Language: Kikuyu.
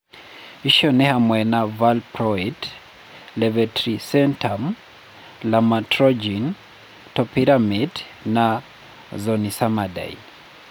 Icio nĩ hamwe na valproate, levetiracetam, lamotrigine, topiramate na zonisamide.